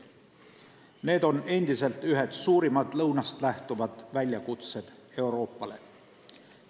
Need on endiselt ühed suurimad lõunast lähtuvad väljakutsed Euroopale.